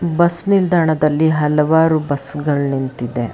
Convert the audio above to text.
Bus ನಿಲ್ದಾಣದಲ್ಲಿ ಹಲವಾರು ಬಸ್ಸುಗಳ್ ನಿಂತಿದೆ.